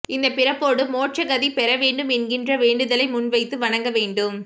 இந்தப் பிறப்போடு மோட்சகதி பெற வேண்டும் என்கிற வேண்டுதலை முன்வைத்து வணங்க வேண்டும்